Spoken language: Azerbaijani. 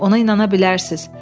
Ona inana bilərsiniz.